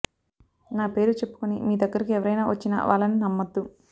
నా పేరు చెప్పుకొని మీ దగ్గరకు ఎవరైనా వచ్చినా వాళ్లని నమ్మద్దు